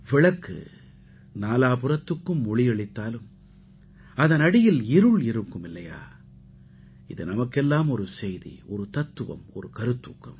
விளக்கு நாலாபுறத்துக்கும் ஒளியளித்தாலும் அதன் அடியில் இருள் இருக்கும் இல்லையா இது நமக்கெல்லாம் ஒரு செய்தி ஒரு தத்துவம் ஒரு கருத்தூக்கம்